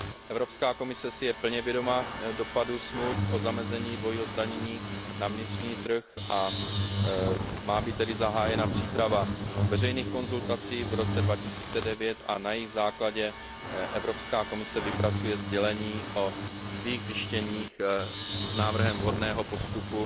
Evropská komise si je plně vědoma dopadu smluv o zamezení dvojího zdanění na vnitřní trh, a má být tedy zahájena příprava veřejných konzultací v roce 2009 a na jejich základě Evropská komise vypracuje sdělení o svých zjištěních s návrhem vhodného postupu